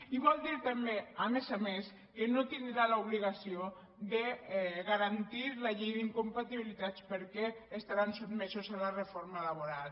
i vol dir també a més a més que no tindrà l’obligació de garantir la llei d’incompatibilitats perquè estaran sotmesos a la reforma laboral